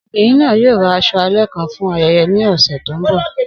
Obinrin naa yoo ra aṣọ alẹ kan fun ayẹyẹ ni ọsẹ to nbọ